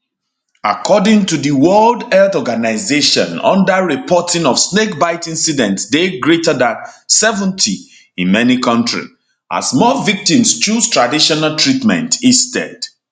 according to di world health organisation underreporting of snake bite incidents dey greater than 70 in many kontri as more victims choose traditional treatment instead